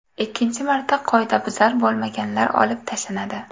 Ikkinchi marta, qoidabuzar bo‘lmaganlar olib tashlanadi.